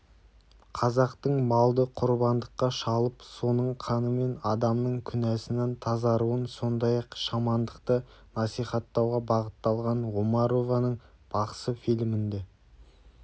қазақтың малды құрбандыққа шалып соның қанымен адамның күнәсынан тазаруын сондай-ақ шамандықты насихаттауға бағытталған омарованың бақсы фильмінде